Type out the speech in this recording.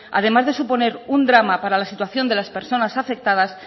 además de suponer un drama para la situación de las personas afectadas